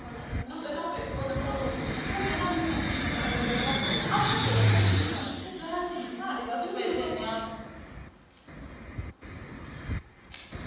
khophi yo sethifaiwaho ya ṱhanziela